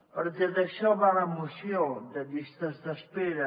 perquè d’això va la moció de llistes d’espera